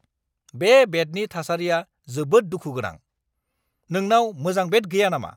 बे बेटनि थासारिआ जोबोद दुखु गोनां। नोंनाव मोजां बेट गैया नामा?